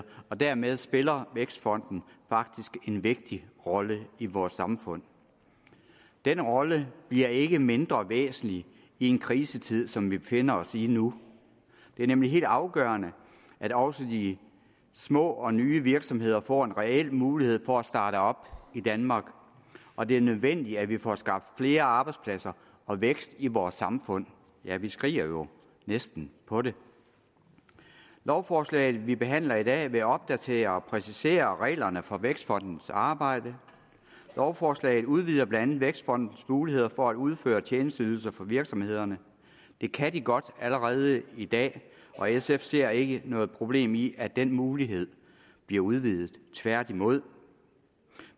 og dermed spiller vækstfonden faktisk en vigtig rolle i vores samfund den rolle bliver ikke mindre væsentlig i en krisetid som vi befinder os i nu det er nemlig helt afgørende at også de små og nye virksomheder får en reel mulighed for at starte op i danmark og det er nødvendigt at vi får skabt flere arbejdspladser og vækst i vores samfund ja vi skriger jo næsten på det lovforslaget vi behandler i dag vil opdatere og præcisere reglerne for vækstfondens arbejde lovforslaget udvider blandt andet vækstfondens muligheder for at udføre tjenesteydelser for virksomhederne det kan den godt allerede i dag og sf ser ikke noget problem i at den mulighed bliver udvidet tværtimod